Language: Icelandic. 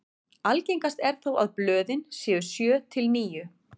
algengast er þó að blöðin séu sjö til níu